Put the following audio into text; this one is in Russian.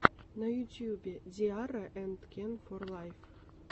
на ютьюбе ди арра энд кен фор лайф